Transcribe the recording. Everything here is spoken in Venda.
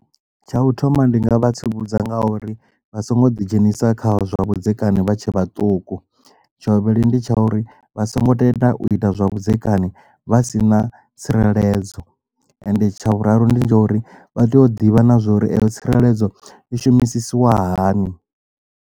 Tsha u thoma ndi nga vha tsivhudza nga uri vha songo ḓi dzhenisa kha zwa vhudzekani vha tshe vhaṱuku tsha vhuvhili ndi tsha uri vha songo tenda u ita zwavhudzekani vha si na tsireledzo ende tsha vhuraru ndi tsha uri vha tea u ḓivha nazwori eyo tsireledzo i shumisiwa hani.